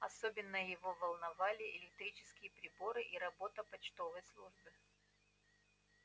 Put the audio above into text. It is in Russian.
особенно его волновали электрические приборы и работа почтовой службы